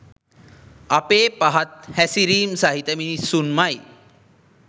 අපේ පහත් හැසිරීම් සහිත මිනිසුන්මයි